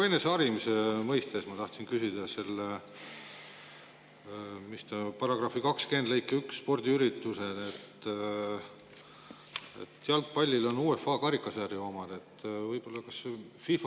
Eneseharimise mõttes ma tahtsin küsida seaduse § 20 lõike 1 kohta, spordiüritusi,.